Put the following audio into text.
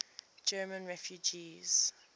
german refugees